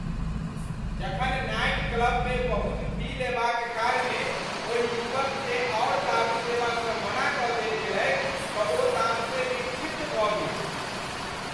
जखन नाइट क्लबमे बहुत पी लेबाक कारणे ओहि युवककेँ आओर दारू देबासँ मना कऽ देल गेलैक तँ ओ तामसे विक्षिप्त भऽ गेल।